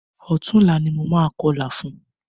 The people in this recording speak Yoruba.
Ọ̀túnla ni mo máa kọlà fún.